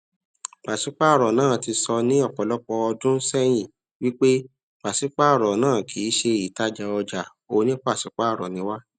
pasipaaro náà tí sọ ni ọpọlọpọ ọdun sẹyin wípé pasipaaro náà kìí ṣe ìtajà ọja oní pasipaaro ni wá